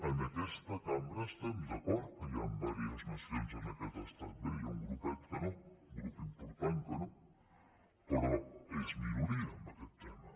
en aquesta cambra estem d’acord que hi han diverses nacions en aquest estat bé hi ha un grupet que no un grup important que no però és minoria en aquest tema